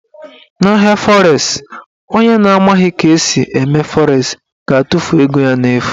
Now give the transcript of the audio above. Na ahịa fọres, onye na amaghị ka esi eme fọres ga-atụfu ego ya n'efu.